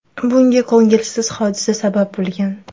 Bunga ko‘ngilsiz hodisa sabab bo‘lgan.